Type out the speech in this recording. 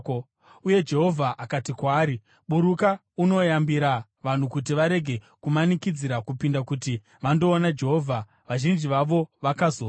uye Jehovha akati kwaari, “Buruka unoyambira vanhu kuti varege kumanikidzira kupinda kuti vandoona Jehovha vazhinji vavo vakazofa.